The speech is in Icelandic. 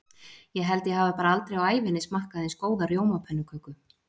Ég held ég hafi bara aldrei á ævinni smakkað eins góða rjómapönnuköku.